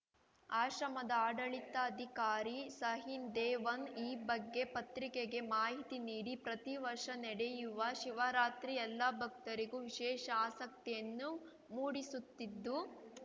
ಆಶ್ರಮದ ಆಡಳಿತಾಧಿಕಾರಿ ಸಾಹಿನ್‌ದೇವನ್‌ ಈ ಬಗ್ಗೆ ಪತ್ರಿಕೆಗೆ ಮಾಹಿತಿ ನೀಡಿ ಪ್ರತಿವರ್ಷ ನಡೆಯುವ ಮಹಾಶಿವರಾತ್ರಿ ಎಲ್ಲಾ ಭಕ್ತರಿಗೂ ವಿಶೇಷ ಆಸಕ್ತಿಯನ್ನು ಮೂಡಿಸುತ್ತಿದ್ದು